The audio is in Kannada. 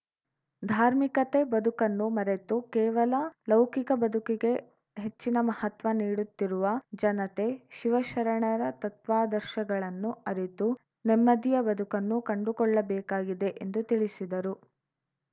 ಧಾರ್ಮಿಕತೆ ಬದುಕನ್ನು ಮರೆತು ಕೇವಲ ಲೌಕಿಕ ಬದುಕಿಗೆ ಹೆಚ್ಚಿನ ಮಹತ್ವ ನೀಡುತ್ತಿರುವ ಜನತೆ ಶಿವಶರಣರ ತತ್ವಾದರ್ಶಗಳನ್ನು ಅರಿತು ನೆಮ್ಮದಿಯ ಬದುಕನ್ನು ಕಂಡುಕೊಳ್ಳಬೇಕಾಗಿದೆ ಎಂದು ತಿಳಿಸಿದರು